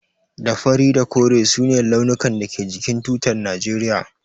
Da fari da kore su ne launukan da ke jikin tutar najeriya.